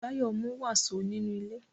Báyọ̀ mú wàsó nínú ilé